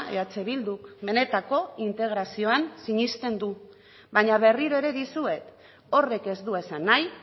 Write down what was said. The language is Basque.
eh bilduk benetako integrazioan sinesten du baina berriro ere dizuet horrek ez du esan nahi